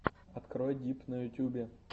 открой дип на ютюбе